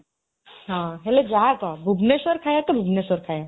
ହଁ, ହେଲେ ଯାହା କହ, ଭୁବନେଶ୍ୱର ଖାଇବା ଟା ଭୁବନେଶ୍ୱର ଖାଇବା ।